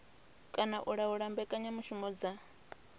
kana u laula mbekanyamushumo dza